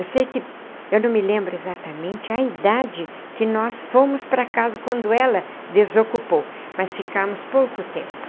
Eu sei que... eu não me lembro exatamente a idade que nós fomos para casa quando ela desocupou, mas ficamos pouco tempo.